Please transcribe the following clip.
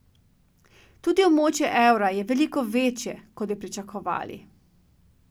Tudi območje evra je veliko večje, kot bi pričakovali.